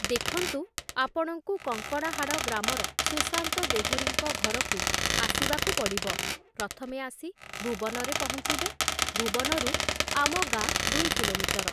ଦେଖନ୍ତୁ ଆପଣଙ୍କୁ କଙ୍କଡ଼ାହାଡ଼ ଗ୍ରାମର ସୁଶାନ୍ତ ଦେହୁରୀଙ୍କ ଘରକୁ ଆସିବାକୁ ପଡ଼ିବ । ପ୍ରଥମେ ଆସି ଭୂବନରେ ପହଞ୍ଚିବେ । ଭୂବନରୁ ଆମ ଗାଁ ଦୁଇ କିଲୋମିଟର ।